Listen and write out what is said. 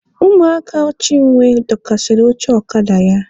Ụmụaka Chinwe dọkasịrị oche ọkada ya.